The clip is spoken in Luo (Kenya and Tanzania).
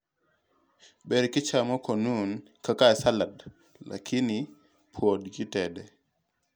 Ber kichamo konumu (Kaka salad), lakini puod kitede.